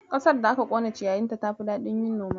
Ƙasar da aka ƙone ciyayinta tafi daɗin yin noma.